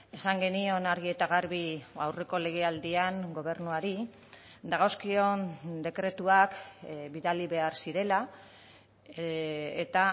esan genion argi eta garbi aurreko legealdian gobernuari dagozkion dekretuak bidali behar zirela eta